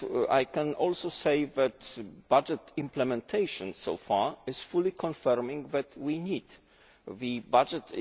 I can also say that budget implementation so far is fully confirming that we need the budget.